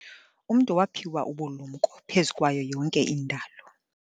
Umntu waphiwa ubulumko phezu kwayo yonke indalo.